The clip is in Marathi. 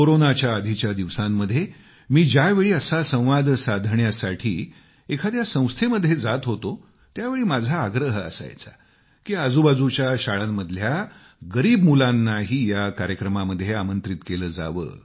कोरोनाच्याआधीच्या दिवसांमध्ये मी ज्यावेळी असा संवाद साधण्यासाठी कोणत्या संस्थेमध्ये जात होतो त्यावेळी माझा आग्रह असायचा की आजूबाजूच्या शाळांमधल्या गरीब मुलांनाही या कार्यक्रमामध्ये आमंत्रित केलं जावं